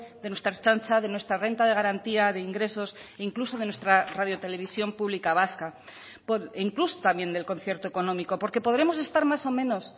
de nuestra ertzaintza de nuestra renta de garantía de ingresos e incluso de nuestra radio televisión pública vasca e incluso también del concierto económico porque podremos estar más o menos